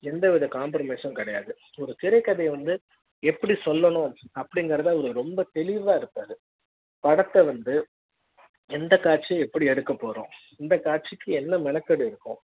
எந்த வித compromise ம் கிடையாது ஒரு திரைக்கதை வந்து எப்படி சொல்ல ணும் அப்படிங்கறது ரொம்ப தெளிவா இருப்பாரு படத்த வந்து எந்த காட்சி யை எப்படி எடுக்க போறோம் இந்த காட்சிக்கு என்ன மெனக்கிடல் இருக்கும்